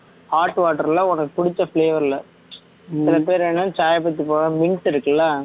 hot water ல உனக்கு புடிச்ச flavor ல சில பேர் என்னன்னா mint இருக்குல்ல